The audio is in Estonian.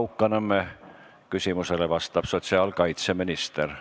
Monika Haukanõmme küsimusele vastab sotsiaalkaitseminister.